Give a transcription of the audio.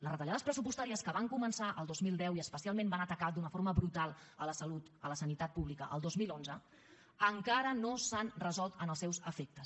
les retallades pressupostàries que van començar el dos mil deu i especialment van atacar d’una forma brutal la sanitat pública el dos mil onze encara no s’han resolt en els seus efectes